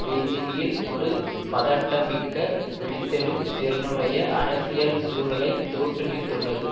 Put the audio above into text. பெய்ஜிங்கில் ஒரு பதட்டம்மிக்க வெடித்தெழும் திறனுடைய அரசியல் சூறலை தோற்றுவித்துள்ளது